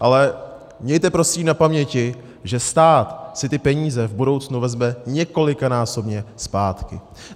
Ale mějte prosím na paměti, že stát si ty peníze v budoucnu vezme několikanásobně zpátky.